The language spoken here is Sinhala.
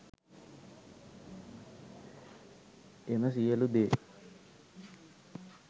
එම සියලු දේ